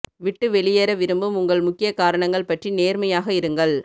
விட்டு வெளியேற விரும்பும் உங்கள் முக்கிய காரணங்கள் பற்றி நேர்மையாக இருங்கள்